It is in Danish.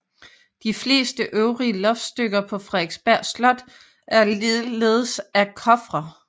De fleste øvrige loftstykker på Frederiksberg Slot er ligeledes af Coffre